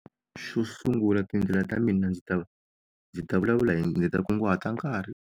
Xo sungula tindlela ta mina ndzi ta ndzi ta vulavula hi ndzi ta kunguhata nkarhi.